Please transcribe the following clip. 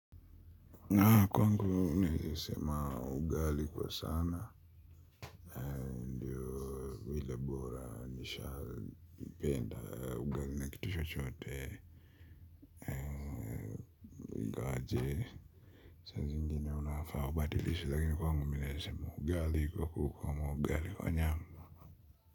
Na kwangu naeza sema ugali kwa sana. Nishapenda ugali na kitu chochote ingawa jee saa zingine unafaa ubadilishe lakini kwangu naeza sema ugali kwa kuku ama ugali kwa nyama.